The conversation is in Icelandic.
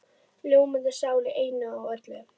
Ljómandi sál í einu og öllu.